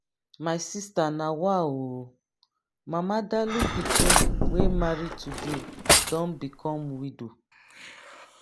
my sister nawa ooo! mama dalụ pikin wey marry today don become widow.